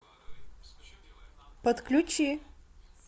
подключи